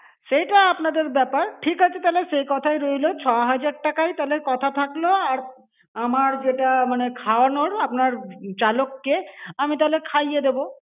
সেটা আপনাদের ব্যাপার ঠিক আছে তাহলে সেই কথাই রইলো ছ হাজার তাহলে কথা থাকলো আর আমার যেটা মানে খাওয়ানোর আপনার চালককে আমি তাহলে খাইয়ে দেব